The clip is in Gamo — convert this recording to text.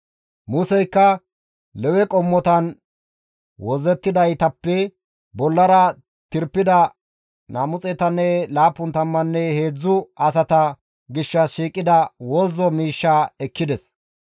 Museykka Lewe qommotan wozzettidaytappe bollara tirpida 273 asata gishshas shiiqida wozzo miishshaa ekkides.